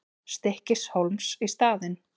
Stykkishólms í staðinn.